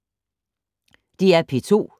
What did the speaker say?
DR P2